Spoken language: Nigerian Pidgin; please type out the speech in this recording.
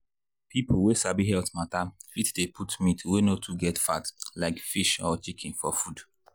people wey sabi health matter fit dey put meat wey no too get fat like fish or chicken for food.